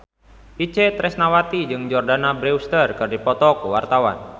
Itje Tresnawati jeung Jordana Brewster keur dipoto ku wartawan